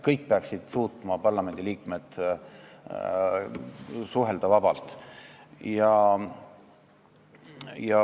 Kõik parlamendiliikmed peaksid suutma suhelda vabalt.